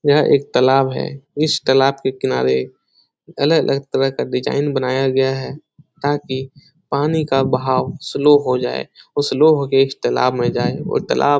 यह एक तलाब है इस तलाब के किनारे अलग-अलग तरह का डिज़ाइन बनाया गया है ताकि पानी का बहाव स्लो हो जाए और स्लो हो के इस तलाब में जाए और तलाब --